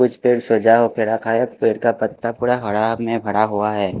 कुछ पेड़ सजा हो के रखा है पेड़ का पत्ता पूरा हरा में भरा हुआ है।